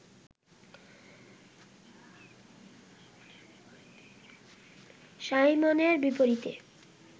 সাইমনের বিপরীতে